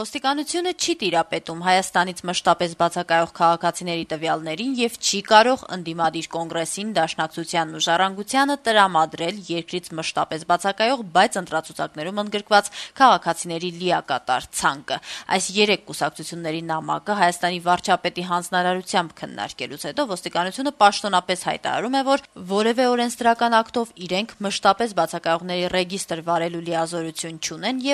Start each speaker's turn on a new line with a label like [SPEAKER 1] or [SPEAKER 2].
[SPEAKER 1] Ոստիկանությունը չի տիրապետում Հայաստանից մշտապես բացակայողների տվյալներին եւ չի կարող ՀԱԿ-ին, ՀՅԴ-ին եւ «Ժառանգություն» կուսակցությանը տրամադրել երկրից մշտապես բացակայող, բայց ընտրացուցակներում ընդգրկված քաղաքացիների լիակատար ցանկը: Հայաստանի վարչապետի հանձնարարությամբ քննարկելով նշված քաղաքական ուժերի նամակը` Ոստիկանությունը պաշտոնապես հայտարարում է, որ որեւէ օրենսդրական ակտով իրենք մշտապես բացակայողների ռեգիստ վարելու լիազորություն չունեն: «Ազատություն»